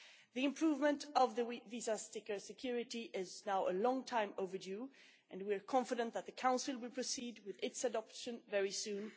The improvement of the visa sticker security is now a long time overdue and we are confident that the Council will proceed with its adoption very soon.